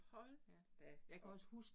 Hold da op